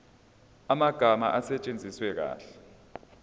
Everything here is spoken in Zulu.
amagama asetshenziswe kahle